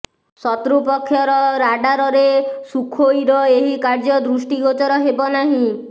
ଶତ୍ରୁ ପକ୍ଷର ରାଡ଼ାରରେ ସୁଖୋଇର ଏହି କାର୍ଯ୍ୟ ଦୃଷ୍ଟି ଗୋଚର ହେବ ନାହିଁ